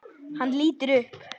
Hann lítur upp.